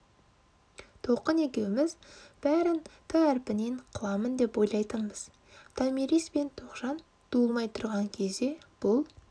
толқын екеуміз бәрін әрпінен қыламын деп ойлайтынбыз томирис пен тоғжан туылмай тұрған кезде бұл